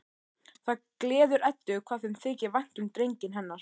Það gleður Eddu hvað þeim þykir vænt um drenginn hennar.